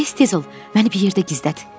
Tez-tez ol, məni bir yerdə gizlət.